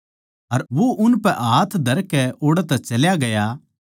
अर वो उनपै हाथ धरकै ओड़ै तै चल्या गया